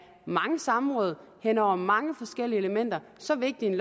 mange samråd hen over mange forskellige elementer så vigtigt